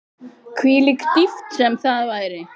Hvílík dýpt sem það væri.